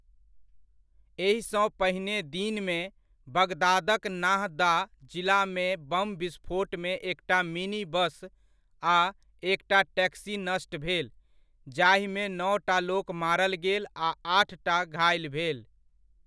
एहिसँ पहिने दिनमे, बगदादक नाहदा जिलामे बम विस्फोटमे एकटा मिनी बस आ एकटा टैक्सी नष्ट भेल, जाहिमे नओटा लोक मारल गेल आ आठटा घाइल भेल।